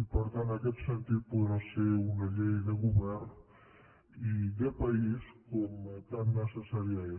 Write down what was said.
i per tant en aquest sentit podrà ser una llei de govern i de país com tan necessària és